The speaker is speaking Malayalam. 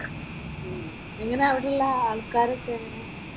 ഉം എങ്ങനെയാ അവിടെ ഉള്ള ആൾക്കാരൊക്കെ എങ്ങനെയാ?